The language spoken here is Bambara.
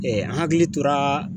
an hakili tora